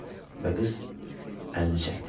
Və qız əlini çəkdi.